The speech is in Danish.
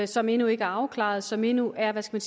som endnu ikke er afklaret og som endnu er hvad skal